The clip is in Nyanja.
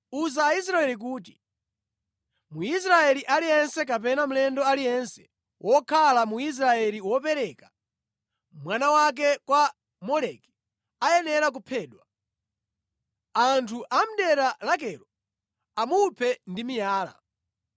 “Uza Aisraeli kuti, ‘Mwisraeli aliyense kapena mlendo aliyense wokhala mu Israeli wopereka mwana wake kwa Moleki ayenera kuphedwa. Anthu a mʼdera lakelo amuphe ndi miyala.